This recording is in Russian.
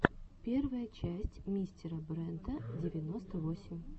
первая часть мистера брента девяносто восемь